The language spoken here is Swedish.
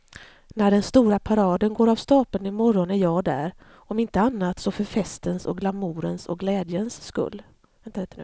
När den stora paraden går av stapeln i morgon är jag där, om inte annat så för festens och glamourens och glädjens skull.